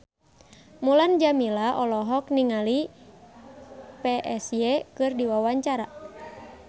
Mulan Jameela olohok ningali Psy keur diwawancara